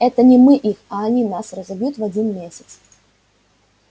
это не мы их а они нас разобьют в один месяц